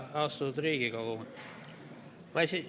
Austatud Riigikogu!